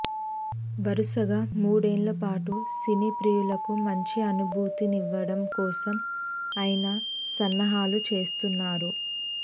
వరుసగా మూడేళ్ల పాటు సినీ ప్రియులకు మంచి అనుభూతినివ్వడం కోసం ఆయన సన్నాహాలు చేస్తున్నారు